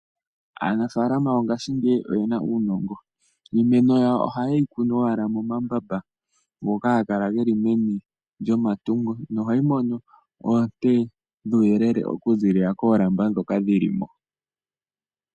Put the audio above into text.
Aanafaalama yongaashingeyi oye na uunongo. Iimeno yawa ohaye yi kunu owala momambamba ngoka haga kala ge li meni lyomatungo nohayi mono oonte dhuuyelele okuziilila koolamba dhoka dhi li mo.